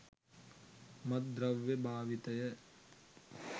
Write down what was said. මත්ද්‍රව්‍ය භාවිතය